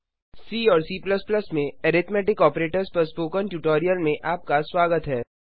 सी C में arithmetic operators पर spoken tutorial में आपका स्वागत है